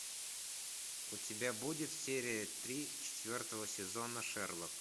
у тебя будет серия три четвертого сезона шерлок